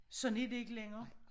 Sådan er det ikke længere